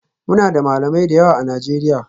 Muna da Malamai da yawa a Najeriya